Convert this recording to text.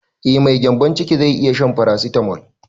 Eh mai gyanbon ciki zai iya shan farasitamol